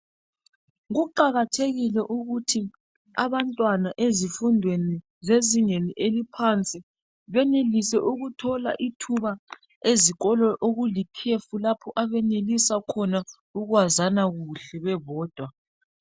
Kuqakathekile ukuthi abantwana ezifundweni ezingeni eliphansi benelise ukuthola ithuba ezikolo okulikhefu lapho abenelisa khona ukwazana kuhle bebodwa.